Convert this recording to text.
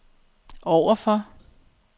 overfor